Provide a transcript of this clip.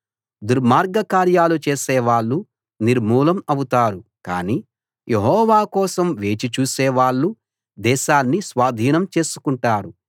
దుర్మార్గకార్యాలు చేసే వాళ్ళు నిర్మూలం అవుతారు కానీ యెహోవా కోసం వేచి చూసే వాళ్ళు దేశాన్ని స్వాధీనం చేసుకుంటారు